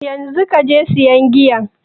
Yanzu kaje sayan giyan?